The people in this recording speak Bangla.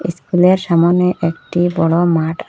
ইস্কুলের সামোনে একটি বড়ো মাঠ আ--